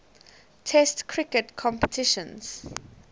test cricket competitions